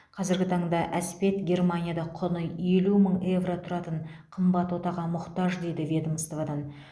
қазіргі таңда әспет германияда құны елу мың евро тұратын қымбат отаға мұқтаж дейді ведомстводан